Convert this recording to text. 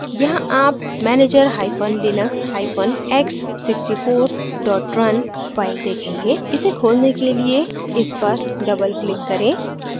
यहाँ आप manager hyphen linux hyphen x64 run file देखेंगे इसे खोलने के लिए इस पर double click करें